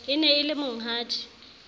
e ne e le monghadi